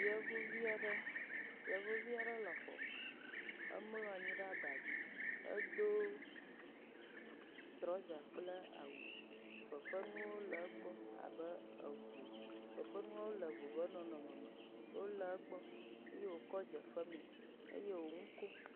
Yevuvi aɖe, Yevuvi aɖe le xɔme. Emlɔ anyi ɖe aba dzi. Edo trɔza kple awu. Fefenuwo le egbɔ abe eŋu. Fefenuawo le ŋu ƒe nɖɔnɔmeme. Wole egbɔ. Ye wòkɔ dze femee. Eye wò nu kom